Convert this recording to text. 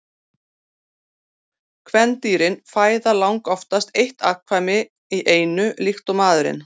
Kvendýrin fæða langoftast eitt afkvæmi í einu líkt og maðurinn.